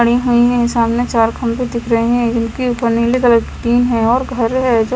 खड़ी हुई है सामने चार खंबे दिख रहे है जो नीली कलर की है और घर है।